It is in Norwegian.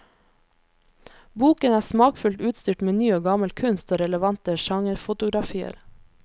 Boken er smakfullt utstyrt med ny og gammel kunst og relevante genrefotografier.